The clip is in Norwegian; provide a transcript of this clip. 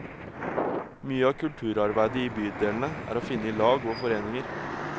Mye av kulturarbeidet i bydelene er å finne i lag og foreninger.